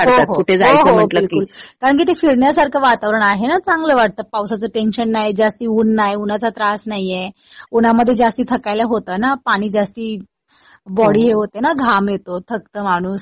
हो हो बिलकुल. कारण कि ते फिरण्यासारखं वातावरण आहे ना. चांगलं वाटतं. पावसाचं टेंशन नाही. जास्त ऊन नाही. उन्हाचा त्रास नाहीये. उन्हामध्ये जास्त थकायला होतं ना. पाणी जास्त बॉडी हे होते ना. घाम येतो. थकत माणूस.